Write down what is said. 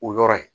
O yɔrɔ ye